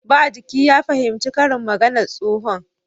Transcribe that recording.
Ba jiki ya fahimci karin maganar tsohon